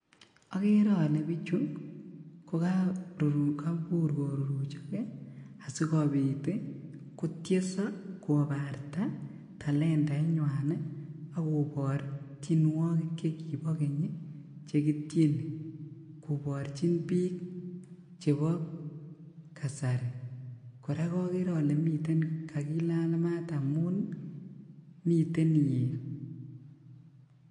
Okere ole bichu kokobur korurichok ii sikobit ii kotiesoo kobarta talentainywan ii ak kobor tienwokikab chekibo geny ii chekitieni koborjin bik chebo kasari koraa okere ole miten kakilal maat amun miten iyet .